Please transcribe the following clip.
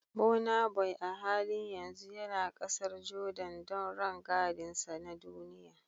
Burnaboy a halin yanzu yana kasar Jordan don rangadinsa na duniya